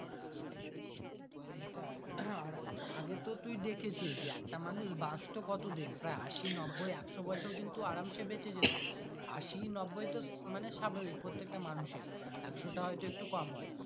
সেটা হম আর আগে তুই দেখেছিস একটা মানুষ বাঁচতো কত দিন প্রায় আশি, নব্বই, একশো বছর কিন্তু আরামসে বাঁচে যেত আসি, নব্বই তো স্বাভাবিক প্রত্যেকটা মানুষের একশো টা হয় তো একটু কম হয়।